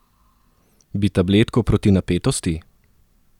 Bi tabletko proti napetosti?